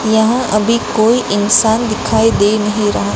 यहां अभी कोई इंसान दिखाई दे नहीं रहा।